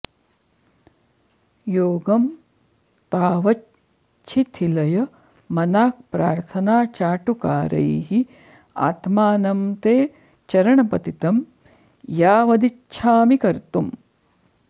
योगं तावच्छिथिलय मनाक् प्रार्थनाचाटुकारैः आत्मानं ते चरणपतितं यावदिच्छामि कर्तुम्